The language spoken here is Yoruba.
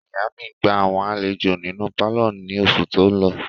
Ìyá mi gba àwọn àlejò nínú pálọ̀ ní oṣù tó lọ.